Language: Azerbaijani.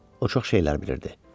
O çox şey bilirdi.